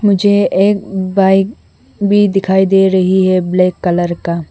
मुझे एक बाइक भी दिखाई दे रही है ब्लैक कलर का --